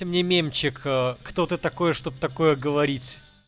ты мне мемчик аа кто ты такой чтоб такое говорить